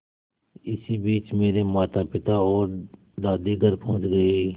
इसी बीच मेरे मातापिता और दादी घर पहुँच गए